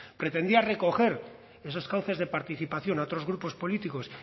pretendía recoger sus cauces de participación a otros grupos políticos